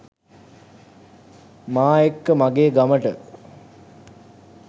මා එක්ක මගෙ ගමට